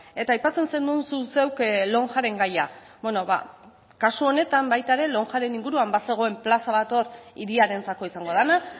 eta aipatzen zenuen zu zeuk lonjaren gaia beno ba kasu honetan baita ere lonjaren inguruan bazegoen plaza bat hor hiriarentzako izango dena